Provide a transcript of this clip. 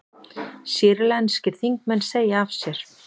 Sýrlenskir þingmenn segja af sér